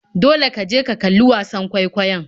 Dole ka je ka kalli wasan kwaikwayon.